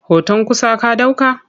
Hoton kusa ka ɗauka?